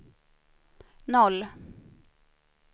noll